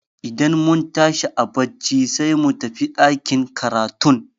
Idan mun tashi a barci sai mu tafi ɗakin karatun.